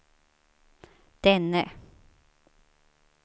denne